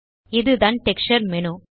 இதுதான் texture menu